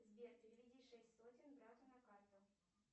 сбер переведи шесть сотен брату на карту